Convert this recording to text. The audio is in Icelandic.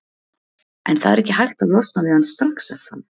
En það er ekki hægt að losna við hann strax er það?